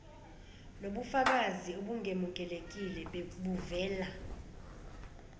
nokubafakazi obungemukelekile buvela